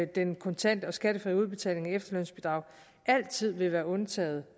den kontante og skattefri udbetaling af efterlønsbidraget altid vil være undtaget